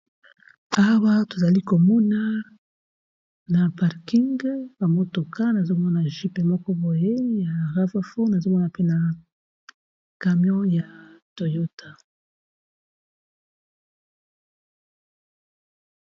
Awa tozali komona na parking ba motoka nazomona gype moko boye ya ravafo azomona pe na camyon ya toyotah.